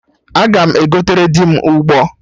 Aga m egotere dị m Ụgbọ